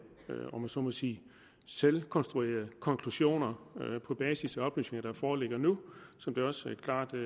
om jeg så må sige selvkonstruerede konklusioner på basis af oplysninger der foreligger nu som det også klart er